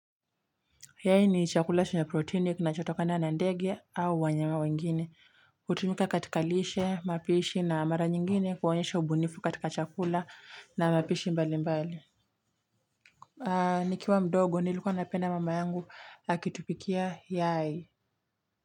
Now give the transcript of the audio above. Yai ni chakula chenye proteini kinachotokana nandege au wanyama wengine hutumika katikalishe mapishi na mara nyingine kuonyesha ubunifu katika chakula na mapishi mbali mbali nikiwa mdogo nilikuwa napenda mama yangu akitupikia yai.